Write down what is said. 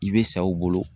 I bɛ sa u bolo